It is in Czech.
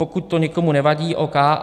Pokud to někomu nevadí, ok.